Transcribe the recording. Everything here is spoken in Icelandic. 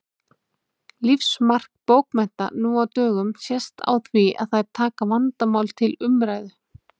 Lífsmark bókmennta nú á dögum sést á því að þær taka vandamál til umræðu.